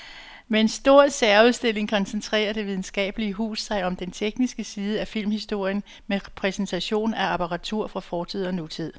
Med en stor særudstilling koncentrerer det videnskabelige hus sig om den tekniske side af filmhistorien med præsentation af apparatur fra fortid og nutid.